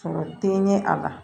Sɔrɔ te ɲɛ a la